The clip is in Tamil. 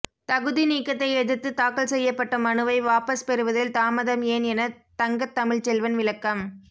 தகுதிநீக்கத்தை எதிர்த்து தாக்கல் செய்யப்பட்ட மனுவை வாபஸ் பெறுவதில் தாமதம் ஏன் என தங்க தமிழ்ச்செல்வன் விளக்கம்